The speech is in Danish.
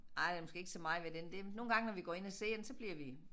Ej der måske ikke så meget ved den der nogle gange når vi går ind og ser den så bliver vi